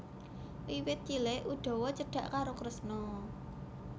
Wiwit cilik Udawa cedhak karo Kresna